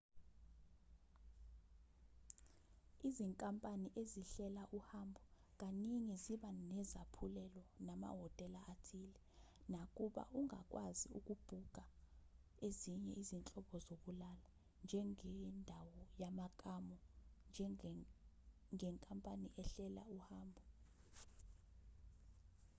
izinkampani ezihlela uhambo kaningi ziba nezaphulelo namahhotela athile nakuba ungakwazi ukubhukha ezinye izinhlobo zokuhlala njengendawo yamakamu ngenkampani ehlela uhambo